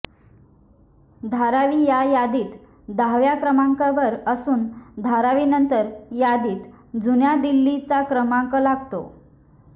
धारावी या यादीत दहाव्या क्रमांकावर असून धारावीनंतर यादीत जुन्या दिल्लीचा क्रमांक लागतो